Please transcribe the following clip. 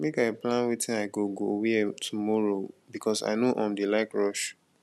make i plan wetin i go i go wear tomorrow because i no um dey like rush